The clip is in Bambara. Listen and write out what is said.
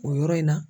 O yɔrɔ in na